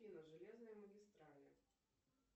железные магистрали